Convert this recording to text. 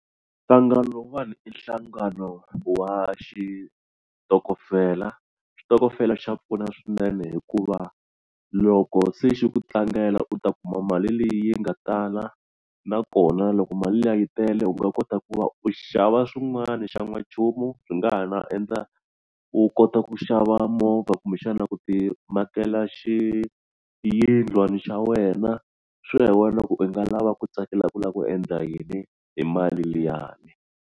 Nhlangano wun'wani i nhlangano wa xitokofela xitokofela xa pfuna swinene hikuva loko se xi ku tlangela u ta kuma mali leyi nga tala nakona loko mali liya yi tele u nga kota ku va u xava swin'wana xa n'wanchumu swi nga ha na endla u kota ku xava movha kumbexana ku ti makela xiyindlwani xa wena swi ya hi wena loko u nga lava ku tsakela ku lava ku endla yini hi mali liyani.